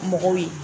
Mɔgɔw ye